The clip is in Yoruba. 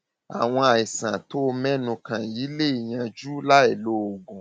àwọn àìsàn tó tó o mẹnu kàn yìí lè yanjú láìlo oògùn